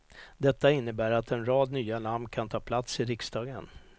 Detta innebär att en rad nya namn kan ta plats i riksdagen.